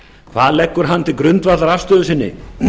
hvað leggur hann til grundvallar afstöðu sinni